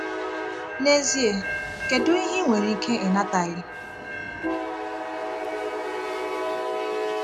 N’ezie, kedu ihe ị nwere nke ị nataghị?